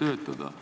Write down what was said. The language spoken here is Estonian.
töötada.